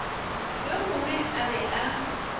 yo mongwe a be a